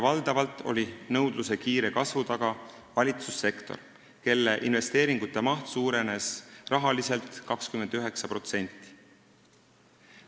Valdavalt oli nõudluse kiire kasvu taga valitsussektor, mille investeeringute maht suurenes rahaliselt 29%.